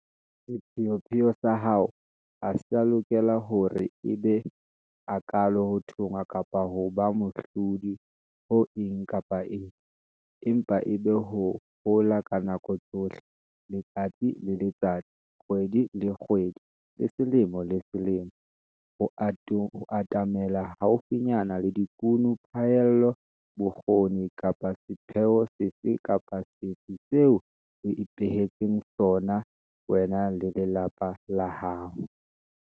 Sepheopheo sa hao ha se a lokela hore e be hakaalo ho thonngwa kapa ho ba mohlodi ho eng kapa eng, empa e be ho hola ka nako tsohle, letsatsi le letsatsi, kgwedi le kgwedi le selemo le selemo, ho atamela haufinyana le dikuno, phaello, bokgoni kapa sepheo sefe kapa sefe seo o ipehetseng sona, wena le lelapa la hao.